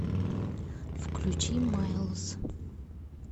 включи майлз